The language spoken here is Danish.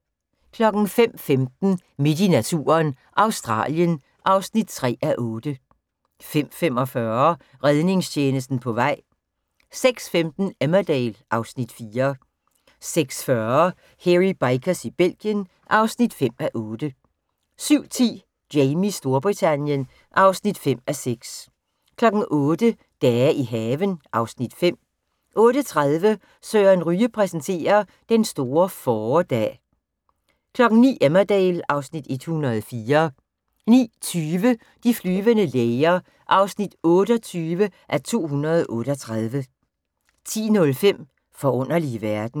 05:15: Midt i naturen – Australien (3:8) 05:45: Redningstjenesten på vej 06:15: Emmerdale (Afs. 4) 06:40: Hairy Bikers i Belgien (5:8) 07:10: Jamies Storbritannien (5:6) 08:00: Dage i haven (Afs. 5) 08:30: Søren Ryge præsenterer: Den store fåredag 09:00: Emmerdale (Afs. 104) 09:20: De flyvende læger (28:238) 10:05: Forunderlige verden